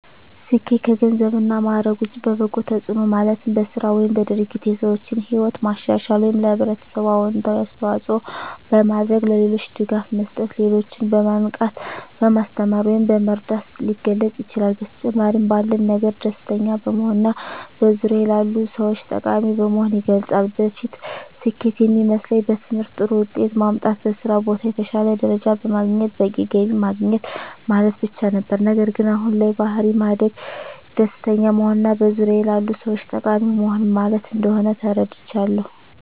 ስኬት ከገንዘብ እና ማዕረግ ውጭ በበጎ ተጽዕኖ ማለትም በሥራ ወይም በድርጊት የሰዎችን ሕይወት ማሻሻል ወይም ለኅብረተሰብ አዎንታዊ አስተዋፅዖ በማድረግ፣ ለሌሎች ድጋፍ መስጠት፣ ሌሎችን በማንቃት፣ በማስተማር ወይም በመርዳት ሊገለፅ ይችላል። በተጨማሪም ባለን ነገር ደስተኛ በመሆንና በዙሪያዎ ላሉ ሰዎች ጠቃሚ በመሆን ይገለፃል። በፊት ስኬት የሚመስለኝ በትምህርት ጥሩ ውጤት ማምጣት፣ በስራ ቦታ የተሻለ ደረጃ በማግኘት በቂ ገቢ ማግኘት ማለት ብቻ ነበር። ነገር ግን አሁን ላይ በባሕሪ ማደግ፣ ደስተኛ መሆንና በዙሪያዎ ላሉ ሰዎች ጠቃሚ መሆን ማለት እንደሆን ተረድቻለሁ።